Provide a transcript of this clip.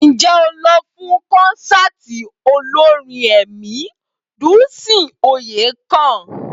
Ǹjẹ́ o lọ fún kọ́nsáàti olórin ẹ̀mí Dùnńsìn Oyèkàn?